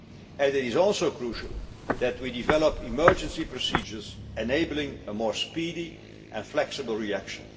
arising. And it is also crucial that we develop emergency procedures enabling a more speedy and flexible